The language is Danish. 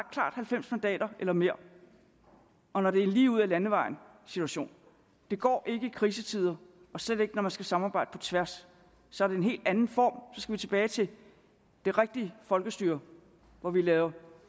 halvfems mandater eller mere og når det er en lige ud ad landevejen situation det går ikke i krisetider og slet ikke når man skal samarbejde på tværs så er det en helt anden form så skal vi tilbage til det rigtige folkestyre hvor vi laver